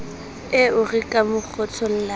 eo re ka mo kgothollang